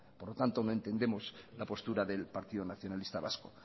por lo tanto no entendemos la postura del partido nacionalista vasco